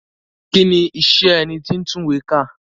Kí ni iṣẹ́ ẹni tí ń tún ìwé kà?